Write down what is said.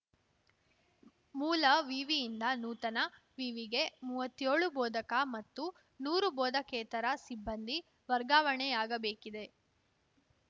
ಮೂಲ ವಿವಿಯಿಂದ ನೂತನ ವಿವಿಗೆ ಮೂವತ್ಯೋಳು ಬೋಧಕ ಮತ್ತು ನೂರು ಬೋಧಕೇತರ ಸಿಬ್ಬಂದಿ ವರ್ಗಾವಣೆಯಾಗಬೇಕಿದೆ